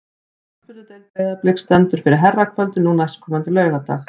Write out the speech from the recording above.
Knattspyrnudeild Breiðabliks stendur fyrir herrakvöldi nú næstkomandi laugardag.